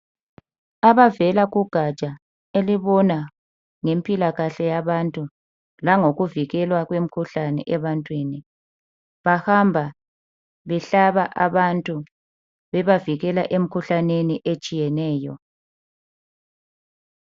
Abavela kugatsha olubona ngempilakahke yabantu langokuvikelwa kwemikhuhlane ebantwini bahamba behlaba abantu bebavikela emikhuhlaneni etshiyeneyo.